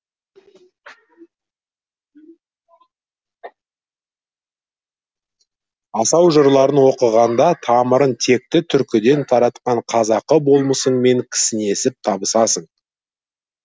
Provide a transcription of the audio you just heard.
асау жырларын оқығанда тамырын текті түркіден тартқан қазақы болмысыңмен кісінесіп табысасың